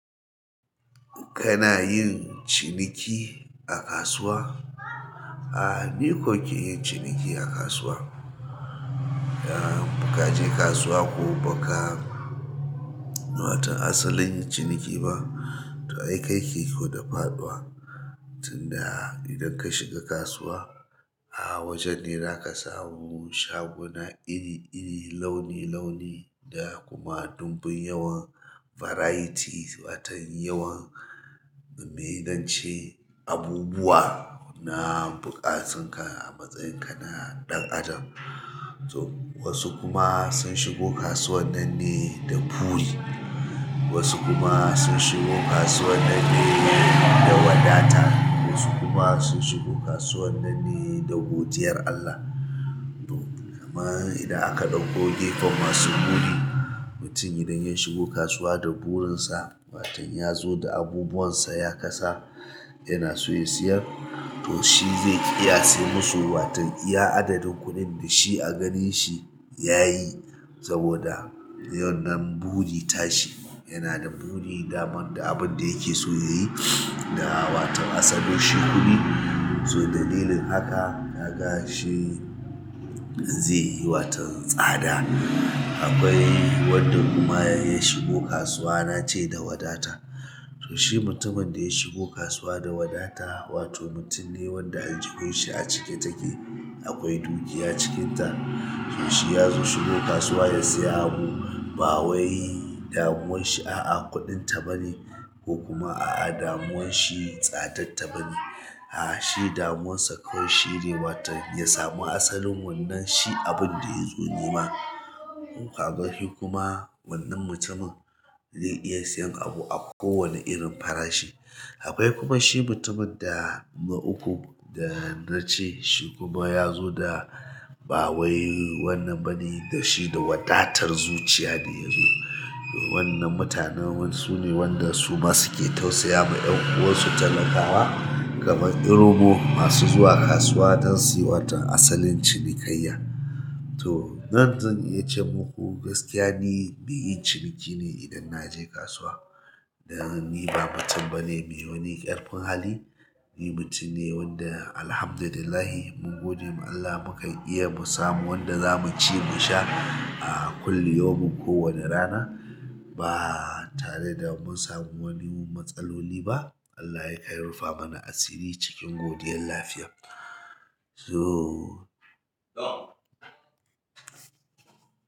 Kana yin ciniki a kasuwa? A, ni ko ke yin ciniki a kasuwa. A muka je kasuwa ko baka, watan asalin yin ciniki ba, to ai kai kike da faɗuwa. Tun da idan ka shiga kasuwa, a wajen ne zaka samu shaguna iri iri, launi launi da kuma dumbin yawan varieties, watan yawan, mai nace abubuwa na buƙatun ka a matsayin ka na ɗan adam. To wasu kuma sun shigo kasuwar nan ne da buri, wasu kuma sun shigo kasuwar nan ne da wadata, wasu kuma sun shigo kasuwar nan ne da godiyar Allah. To, kamar idan aka ɗauko gefen masu buri, mutum idan ya shigo kasuwa da burinsa, waton ya zo da abubuwan sa ya kasa, yana so ya siyar, to shi zai iya sanya musu waton iya adadin kuɗin da shi a ganin shi ya yi saboda yawan nan buri ta shi. Yana da buri daman da abun da yake so ya yi da watan asalonshi kuɗi. To dalilin haka, kaga shi waton zai yi sada. Akwai wanda kuma ya shigo kasuwa na ce da wadata. To shi mutumin da ya shigo kasuwa da wadata, wato mutum ne wanda aljihun shi a cike take, akwai dukiya cikin ta. To shi ya zo shigo kasuwa ya saya abu, ba wai damuwan shi a'a kuɗin ta bani ko kuma a'a damuwan shi tsadatta bane. A shi damuwan sa kawai shi ne watan ya samu asalin wannan shi abin da ya zo nema. Kun ga shi kuma wannan mutumin zai iya siyan abu a kowane irin farashi. Akwai kuma shi mutumin da na uku da na ce shi kuma ya zo da ba wai wannan bane da shi da wadatar zuciya da ya zo. Wannan mutanen sune wanda su ma suke tausaya ma ƴan uwansu talakawa, kamar Irobo masu zuwa kasuwa don su yi watan asalin cinikayya. To ran da zan iya ce muku gaskiya ni mai yin ciniki ne idan naje kasuwa. Dan ni ba mutum bane mai wani ƙarfin hali. Ni mutum ne wanda Alhamdulillah, mun gode ma Allah mukan iya mu samu wanda za mu ci mu sha a kulli yaumin kowani rana. Ba tare da mun samu wani matsaloli ba. Allah ne ya rufamana asiri cikin godiyan lafiya.